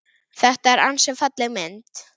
Þetta er ansi falleg mynd.